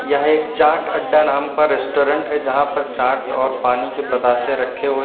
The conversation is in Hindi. यह एक चाट अड्डा नाम का रेस्टोरेंट है यहां पर चाट और पानी के बताशे रखे हुए--